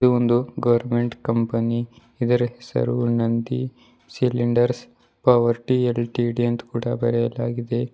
ಒಂದು government company ಇದರ ಹೆಸರು ನಂದ ಸಿಲಿಂಡರ್ ಪವರ್ಟಿ ಲ್ ಟಿ ಡಿ ಅಂತ್ ಕೂಡ ಬರೆಯಲಾಗಿದೆ.